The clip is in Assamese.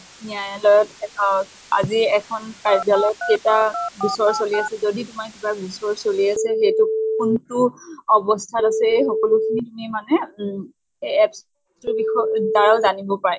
ন্য়ায়ালয়ত এটা আজি এখন কাৰ্যালয়ত কেইটা গোচৰ চলি আছে। যদি তোমাৰ কিবা গোচৰ চলি আছে সেইটো কোনটো অৱস্থাত আছে, এই সকলো খিনি তুমি মানে উম apps তোৰ বিষয় দ্বাৰাও জানব পায়।